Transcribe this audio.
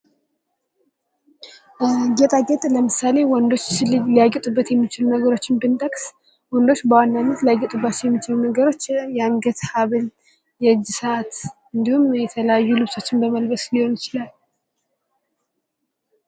ጌጣጌጦችን ስናይ በአብዛኛው ወንዶች ከሚያጌጡበት መካከል ሀብልና ሰዐት እንዲሁም የተለያዩ ልብሶችን በመልበስ ሊሆን ይችላል ።